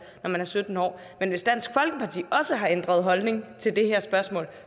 når man er sytten år men hvis dansk folkeparti også har ændret holdning til det her spørgsmål